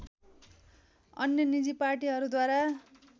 अन्य निजी पार्टीहरूद्वारा